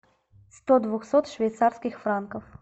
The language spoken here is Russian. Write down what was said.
сто двухсот швейцарских франков